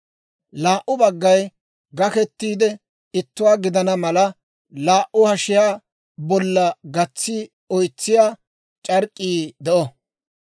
Laa"u baggay gakettiide ittuwaa gidana mala, laa"u hashiyaa bolla gatsiide oytsiyaa c'ark'k'ii de'o.